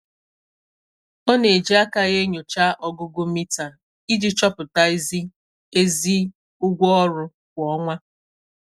Ọ na-eji aka ya enyocha ọgụgụ mita iji chọpụta izi ezi ụgwọ ọrụ kwa ọnwa.